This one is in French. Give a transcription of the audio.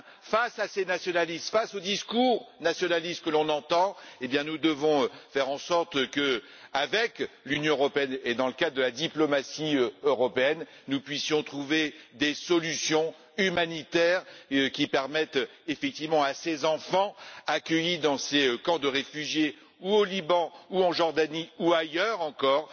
Face à ces nationalistes, face au discours nationaliste que nous entendons, nous devons faire en sorte, avec l'Union européenne et dans le cas de la diplomatie européenne, de parvenir à des solutions humanitaires qui permettent effectivement aux enfants accueillis dans ces camps de réfugiés, au Liban, en Jordanie ou ailleurs encore,